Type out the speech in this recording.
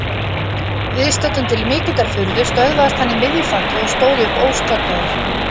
Viðstöddum til mikillar furðu stöðvaðist hann í miðju falli og stóð upp óskaddaður.